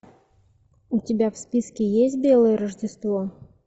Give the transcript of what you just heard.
у тебя в списке есть белое рождество